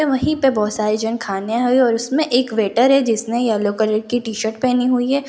वहीं पे बहुत सारे जन खाने आए है और उसमें एक वेटर है जिसने येलो कलर की टी_शर्ट पहनी हुई है।